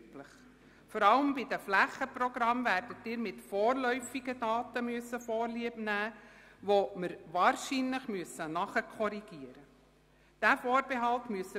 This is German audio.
Sie werden vor allem bei den Flächenprogrammen mit vorläufigen Daten Vorlieb nehmen müssen, welche wir wahrscheinlich nachträglich werden korrigieren müssen.